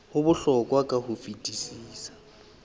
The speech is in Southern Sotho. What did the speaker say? ho bohlokwa ka ho fetisisa